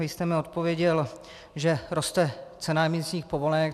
Vy jste mi odpověděl, že roste cena emisních povolenek.